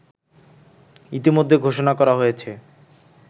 ইতোমধ্যে ঘোষণা করা হয়েছে